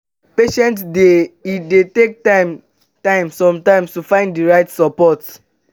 dey patient e dey take time time sometimes to find di right support